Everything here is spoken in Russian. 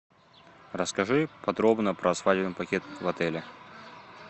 расскажи подробно про свадебный пакет в отеле